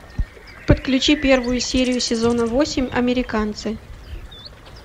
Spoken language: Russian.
подключи первую серию сезона восемь американцы